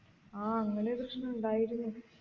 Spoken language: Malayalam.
ആഹ് അങ്ങനൊരു പ്രശ്നം ഉണ്ടായിരുന്നു